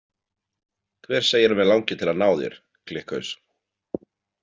Hver segir að mig langi til að ná þér, klikkhaus?